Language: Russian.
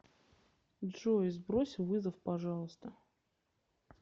джой сбрось вызов пожалуйста